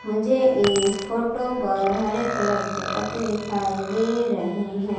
मुझे इस फोटो पर हरे कलर के पत्ते दिखाई दे रहे हैं।